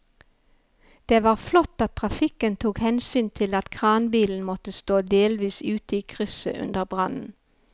Det var flott at trafikken tok hensyn til at kranbilen måtte stå delvis ute i krysset under brannen.